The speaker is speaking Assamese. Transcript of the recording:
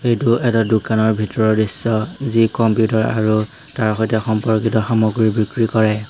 এইটো এটা দোকানৰ ভিতৰৰ দৃশ্য যি কম্পিউটাৰ আৰু তাৰ সৈতে সম্পৰ্কিত সামগ্ৰী বিক্ৰী কৰে।